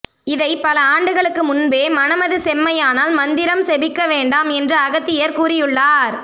இதை பல ஆண்டுகளுக்கு முன்பே மனமது செம்மையானால் மந்திரம் செபிக்க வேண்டாம் என்று அகத்தியர் கூறியுள்ளார்